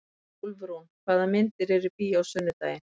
Úlfrún, hvaða myndir eru í bíó á sunnudaginn?